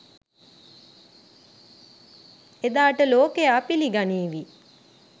එදාට ලෝකයා පිළිගනීවි